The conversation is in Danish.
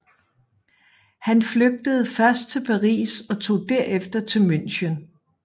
Han flygtede først til Paris og tog derefter til München